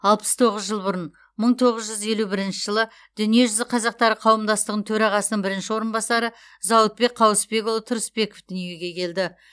алпыс тоғыз жыл бұрын мың тоғыз жүз елу бірінші дүниежүзі қазақтары қауымдастығының төрағасының бірінші орынбасары зауытбек қауысбекұлы тұрысбеков дүниеге келді